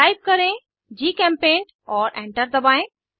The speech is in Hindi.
टाइप करें जीचेम्पेंट और एंटर दबाएं